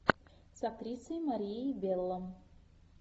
с актрисой марией белло